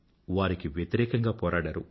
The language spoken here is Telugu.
వారికి వ్యతిరేకంగా పోరాడారు